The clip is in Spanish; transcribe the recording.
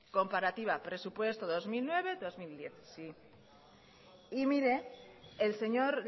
comparativa presupuesto dos mil nueve dos mil diez y mire el señor